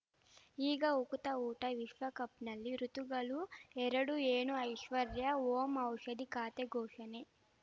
ಈಗ ಉಕುತ ಊಟ ವಿಶ್ವಕಪ್‌ನಲ್ಲಿ ಋತುಗಳು ಎರಡು ಏನು ಐಶ್ವರ್ಯಾ ಓಂ ಔಷಧಿ ಖಾತೆ ಘೋಷಣೆ